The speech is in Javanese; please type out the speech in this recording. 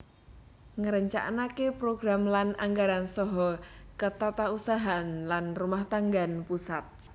Ngrencanakaken program lan anggaran saha ketatausahaan lan kerumahtanggan pusat